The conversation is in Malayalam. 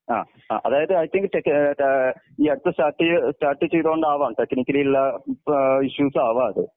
ആ ആ അതായത് ഐ തിങ്ക് ഏഹ് ഏഹ് ഈ അടുത്ത് സ്റ്റാർട്ട് സ്റ്റാർട്ട് ചെയ്തോണ്ടാവാം ടെക്നക്കലി ഉള്ള ഇപ്പൊ ഇഷ്യൂസ് ആവാതെ.